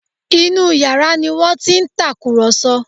Inú yàrá ni wọ́n ti ń tàkùrọ̀sọ